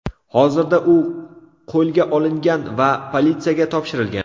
Hozirda u qo‘lga olingan va politsiyaga topshirilgan.